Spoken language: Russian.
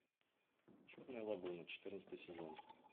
черная лагуна четырнадцатый сезон